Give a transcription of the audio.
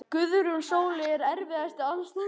Guðrún Sóley Ekki erfiðasti andstæðingur?